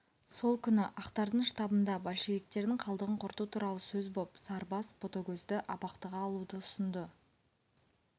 сол күні ақтардың штабында большевиктердің қалдығын құрту туралы сөз боп сарыбас ботагөзді абақтыға алуды ұсынды